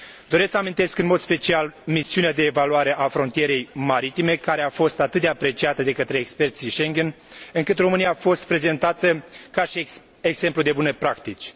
Doresc să amintesc în mod special misiunea de evaluare a frontierei maritime, care a fost atât de apreciată de către experții Schengen, încât România a fost prezentată ca și exemplu de bune practici.